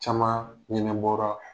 Camaan ɲɛnɛbɔra.